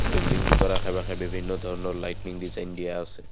Building দুটাৰ আশে পাশে বিভিন্ন ধৰণৰ লাইটিনিং ডিজাইন দিয়া আছে।